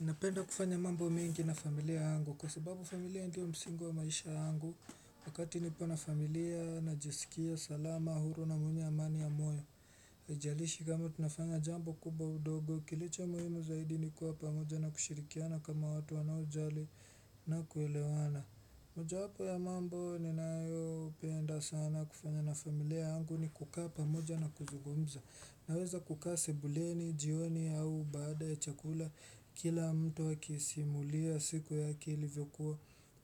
Napenda kufanya mambo miengi na familia yangu, kwa sababu familia ndiyo msingi wa maisha yangu, wakati nipo na familia, najisikia salama, huru na mwenye amani ya moyo. Haijalishi kama tunafanya jambo kubwa udogo, kilicho muhimu zaidi ni kuwa pamoja na kushirikiana kama watu wanaojali na kuelewana. Mojawapo ya mambo ninayopenda sana kufanya na familia yangu ni kukaa pamoja na kuzungumza. Naweza kukaa sebuleni, jioni au baada ya chakula, kila mtu akisimulia siku yake ilivyokuwa,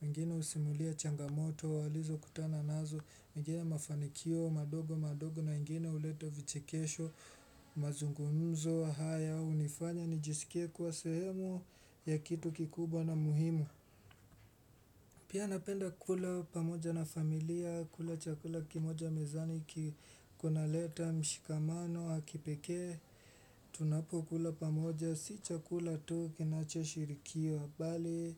wengine husimulia changamoto walizokutana nazo, wengine mafanikio madogo madogo na wengine huleta vichekesho, mazungumzo haya hunifanya nijisikie kuwa sehemu ya kitu kikubwa na muhimu Pia napenda kula pamoja na familia, kula chakula kimoja mezani, kunaleta mshikamano wa kipekee Tunapokula pamoja, si chakula tu kinachoshirikiwa bali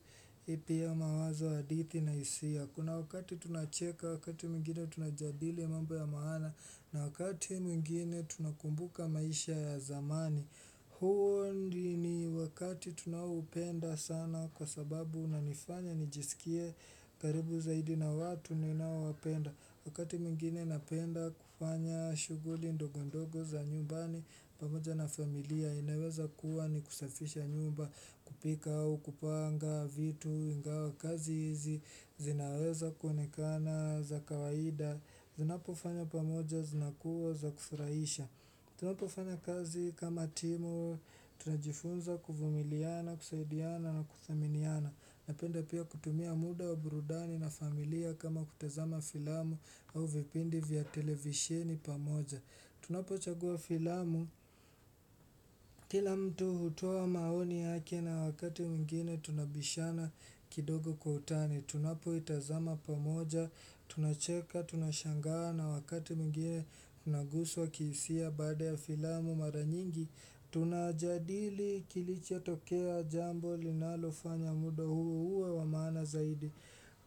pia mawazo, hadithi na hisia. Kuna wakati tunacheka, wakati mwingine tunajadili mambo ya maana, na wakati mwingine tunakumbuka maisha ya zamani huo ni wakati tunaoupenda sana kwa sababu unanifanya nijisikie karibu zaidi na watu ninaowapenda. Wakati mwingine napenda kufanya shughuli ndogo ndogo za nyumbani pamoja na familia. Inaweza kuwa ni kusafisha nyumba kupika au kupanga vitu ingawa kazi hizi zinaweza kuonekana za kawaida Zinapofanywa pamoja zinakuwa za kufurahisha. Tunapofanya kazi kama timu, tunajifunza kuvumiliana, kusaidiana na kuthaminiana. Napenda pia kutumia muda wa burudani na familia kama kutazama filamu au vipindi vya televisheni pamoja. Tunapochagua filamu, kila mtu hutoa wa maoni yake na wakati mwingine tunabishana kidogo kwa utani. Tunapoitazama pamoja, tunacheka, tunashangaa na wakati mwingine tunaguswa kihisia, baada ya filamu mara nyingi Tunajadili kilichotokea, jambo linalofanya muda huu uwe wa maana zaidi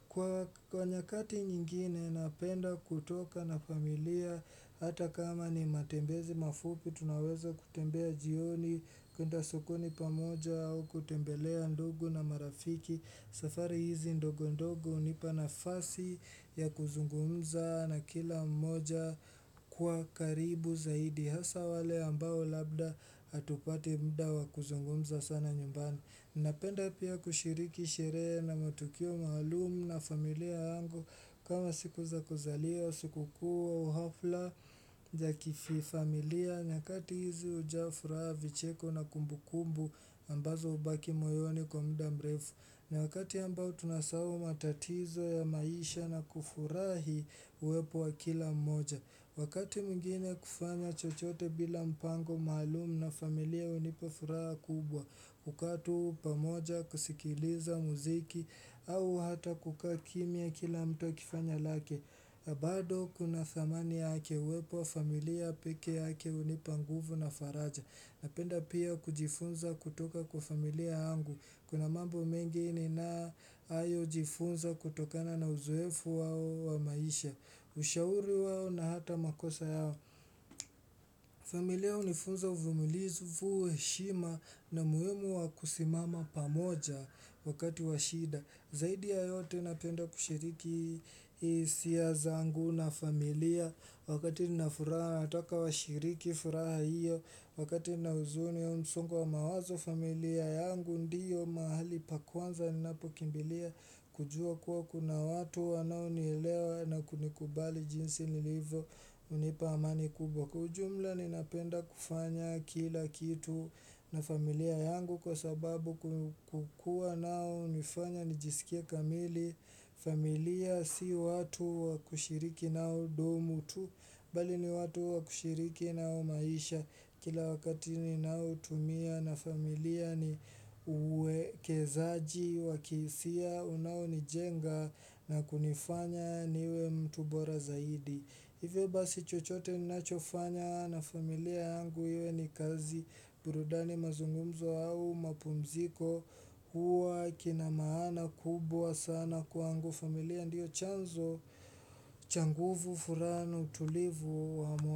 Kwa nyakati nyingine napenda kutoka na familia hata kama ni matembezi mafupi, tunaweza kutembea jioni, kuenda sokoni pamoja au kutembelea ndugu na marafiki. Safari hizi ndogo ndogo hunipa nafasi ya kuzungumza na kila mmoja kuwa karibu zaidi hasaa wale ambao labda hatupati muda wa kuzungumza sana nyumbani. Napenda pia kushiriki sherehe na matukio maalum na familia yangu. Kama siku za kuzaliwa, siku kuu, hafla ya kifamilia. Nyakati hizi hujawa furaha vicheko na kumbukumbu ambazo hubaki moyoni kwa muda mrefu na wakati ambao tunasahau matatizo ya maisha na kufurahi uwepo wa kila mmoja. Wakati mwingine kufanya chochote bila mpango maalum na familia hunipa furaha kubwa. Kukaa tu pamoja, kusikiliza muziki au hata kukaa kimya kila mtu akifanya lake bado kuna thamani yake, uwepo wa familia peke yake hunipa nguvu na faraja. Napenda pia kujifunza kutoka kwa familia yangu. Kuna mambo mengi ninayojifunza kutokana na uzoefu wao wa maisha, ushauri wao na hata makosa yao familia hunifunza uvumulivu heshima na umuhimu wa kusimama pamoja wakati wa shida, Zaidi ya yote napenda kushiriki hisia zangu na familia. Wakati nina furaha nataka washiriki furaha hiyo, wakati nina huzuni au msongo wa mawazo familia yangu ndiyo mahali pa kwanza ninapokimbilia kujua kuwa kuna watu wanaonielewa na kunikubali jinsi nilivyo hunipa amani kubwa. Kwa ujumla ninapenda kufanya kila kitu na familia yangu kwa sababu kukuwa nao hunifanya nijisikie kamili familia si watu wa kushiriki nao domo tu, bali ni watu wakushiriki nao maisha. Kila wakati ninaotumia na familia ni uwekezaji wa kihisia unaonijenga na kunifanya niwe mtu bora zaidi. Hivyo basi chochote ninachofanya na familia yangu iwe ni kazi burudani mazungumzo au mapumziko huwa kina maana kubwa sana, kwangu familia ndiyo chanzo cha nguvu furaha na utulivu wa moyo.